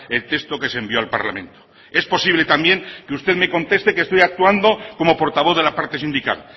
el texto que se envió al parlamento es posible también que usted me conteste que estoy actuando como portavoz de la parte sindical